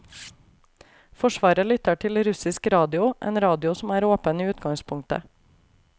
Forsvaret lytter til russisk radio, en radio som er åpen i utgangspunktet.